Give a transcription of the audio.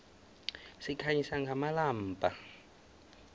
sikhanyisa ngamalombha